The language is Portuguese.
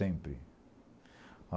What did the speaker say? Sempre.